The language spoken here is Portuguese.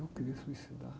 Eu queria suicidar.